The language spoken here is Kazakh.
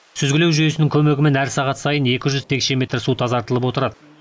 сүзгілеу жүйесінің көмегімен әр сағат сайын екі жүз текше метр су тазартылып отырады